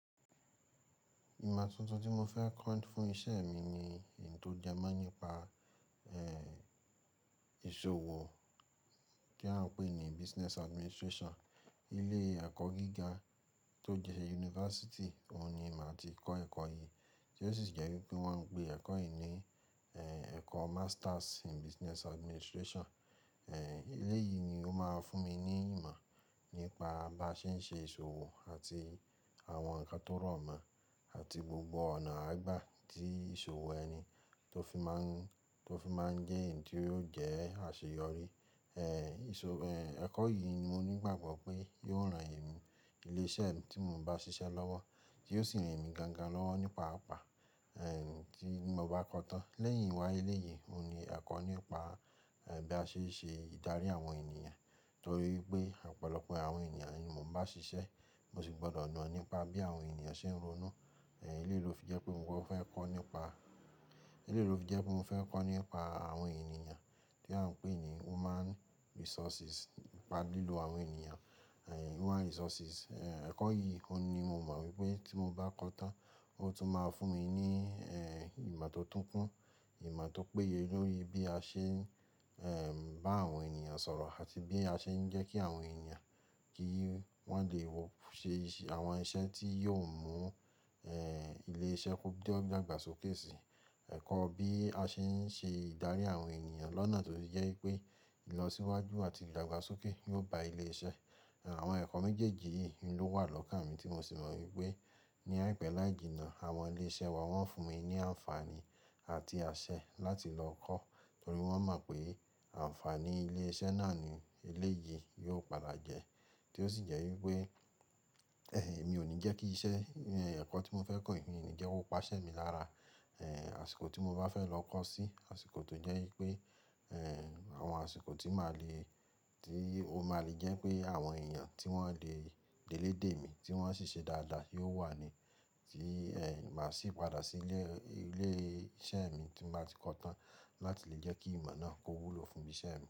Ìmọ tuntun tí mo fẹ́ kọ́ fún iṣẹ́ mi ni ohun tó jẹ́ mọ nípa, eh, ìṣòwò tí eyan n pè ní Business Administration. Ilé ẹ̀kọ́ gíga tó di university, òun ni màá ti kọ́ ẹ̀kọ́ yìí tí ó sì jẹ́ wípé wọ́n ń pè ẹ̀kọ́ yìí ní, eh, ẹ̀kọ́ Masters in Business Administration. Eh, ilé yìí ni ó máa fún mi ní ìmọ̀ nípa bí a ṣe ń ṣe ìṣòwò àti àwọn ǹkan tó rọ̀mọ́ àti gbogbo ọ̀nà àgbà tí ìṣòwò ẹni tó fi máa ń, tó fi máa ń jẹ́ èyí tí yóò jẹ́ àṣeyọrí. Eh, ìṣò, eh, ẹ̀kọ́ yìí ni mo ní ìgbàgbọ́ pé yóò ran èmi, ilé iṣẹ́ mi tí mo bá ṣiṣẹ́ lọ́wọ́ tí ó sì ran mi gangan lọ́wọ́ nípa àpá, eh, tí mo bá kọ́ tán. Lẹ́yìn wá ilé yìí, òun ni ẹ̀kọ́ nípa, eh, bí a ṣe ń ṣe ìdarí àwọn ènìyàn torí pé ọ̀pọ̀lọpọ̀ àwọn ènìyàn ni mò ń bá ṣiṣẹ́, mo sì gbọdọ̀ mọ̀ nípa bí àwọn ènìyàn ṣe ń ronú. Eh, eleyìí ló fi jẹ́ pé mo fẹ́ kọ́ nípa àwọn ènìyàn tí a ń pè ní Human Resources, nípa lílo àwọn ènìyàn, eh, Human Resources. Eh, ẹ̀kọ́ yìí òun ni mo mọ̀ wípé tí mo bá kọ́ tán ó tún máa fún mi ní, eh, ìmọ̀ tó tún kún, ìmọ̀ tó péye lórí bí a ṣe ń, eh, bá àwọn ènìyàn sọ̀rọ̀ àti bí a ṣe ń jẹ́ kí àwọn ènìyàn kí wọ́n lè wọ́ ṣe àwọn iṣẹ́ tí yóò mú, eh, ilé iṣẹ́ kú dí ọ́ dàgbàsókè si. Ẹ̀kọ́ bí a ṣe ń ṣe ìdarí àwọn ènìyàn lọ́nà tó jẹ́ wípé ìlọsíwájú àti ìdàgbàsókè yóò ba ilé iṣẹ́. Àwọn ẹ̀kọ́ méjèèjì yìí ló wà lọ́kàmi tí mó sì mọ̀ wípé ní àìpé láì jìnnà àwọn ilé iṣẹ́ wa wọ́n fún mi ní àǹfààní àti àṣẹ láti lọ kọ́ torí wọ́n mọ̀ pé àǹfààní ilé iṣẹ́ náà ni ilé yìí yóò padà jẹ́ tí ó sì jẹ́ wípé, ẹh, èmi ò ní jẹ́ kí iṣẹ́, eh, ẹ̀kọ́ tí mo fẹ́ kọ́ yìí ní jẹ́ kó paṣẹ mi lára, eh, àsìkò tí mo bá fẹ́ lọ kọ́ sí, àsìkò tó jẹ́ wípé, eh, àwọn àsìkò tí máa le, tí ó máa le jẹ́ pé àwọn èèyàn tí wọ́n lè, lè dé mi tí wọ́n ṣì ṣe dáadáa yóò wà ni tí, eh, màá sì padà sí ilé, ilé iṣẹ́ mi tí màá ti kọ́ tán láti lè jẹ́ kí ìmọ̀ náà kó wúlò fún iṣẹ́ mi.